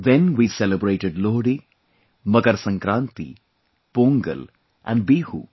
Then we celebrated Lohri, Makar Sankranti, Pongal and Bihu